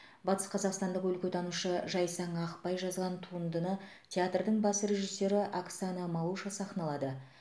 батысқазақстандық өлкетанушы жайсаң ақбай жазған туындыны театрдың бас режиссеры оксана малуша сахналады